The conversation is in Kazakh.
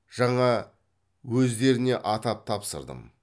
жаңа өздеріне атап тапсырдым